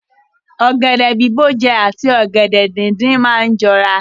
Ọ̀gẹ̀dẹ̀ bìbó jẹ àti ọ̀gẹ̀dẹ̀ díndín máa ni jọra.